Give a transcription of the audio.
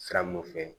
Sira mun fɛ